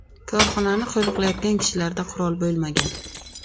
Korxonani qo‘riqlayotgan kishilarda qurol bo‘lmagan.